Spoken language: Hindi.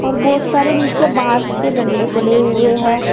बहुत सारे नीचे बांस के डंडे पड़े हुए हैं।